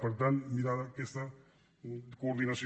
per tant mirar aquesta coordinació